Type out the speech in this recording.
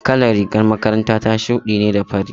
Kalar rigar makaranta ta shuɗi ne da fari.